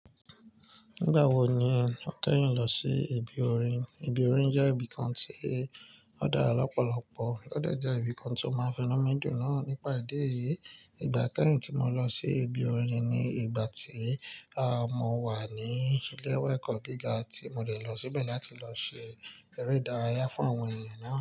Nígbà wo ni o kẹ́yin lọ sí ibi orin? Ibi orin jẹ́ ibi kan tí ó dára lọ́pọ̀lọpọ̀, ó de je ibi kan tí ó máa n finu midùn náà nípa ìdí èyí. Ìgbà kẹ́yìn tí mo lọ sí ibi orin ni ìgbà tí, à, mo wà ní ilé ẹ̀kọ́ gíga tí mo dé lọ síbẹ̀ láti lọ ṣe eré ìdárayá fún àwọn èeyàn náà.